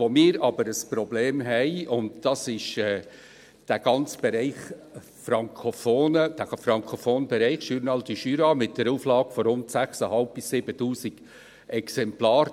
Wo wir jedoch ein Problem haben, ist betreffend den ganzen Bereich Frankophone mit dem «Journal du Jura» mit einer Auflage von rund 6500 bis 7000 Exemplaren.